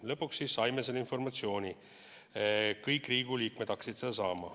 Lõpuks saime selle informatsiooni, kõik Riigikogu liikmed hakkasid saama.